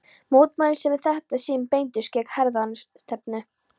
Mótmælin, sem í þetta sinn beindust gegn hernaðarstefnu